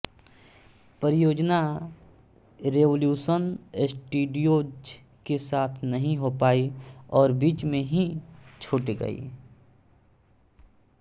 परियोजना Revolution Studios के साथ नहीं हो पायी और बीच में ही छूट गयी